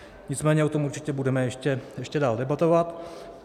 Nicméně o tom určitě budeme ještě dál debatovat.